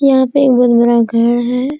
यहां पे एक बहुत बड़ा घर हैं।